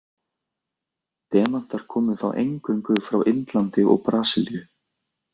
Demantar komu þá eingöngu frá Indlandi og Brasilíu.